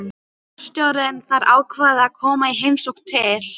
Forstjórinn þar ákvað að koma í heimsókn til